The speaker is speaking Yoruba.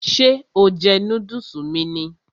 Ṣé o jẹ núdùsì mi ni?